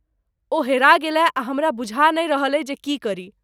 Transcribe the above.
ओ हेरा गेलए आ हमरा बुझा नहि रहलए जे की करी।